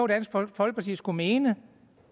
dansk folkeparti skulle mene